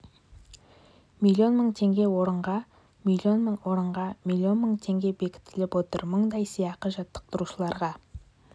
миллион мың теңге орынға миллион мың орынға миллион мың теңге бекітіліп отыр мұндай сыйақы жаттықтырушыларға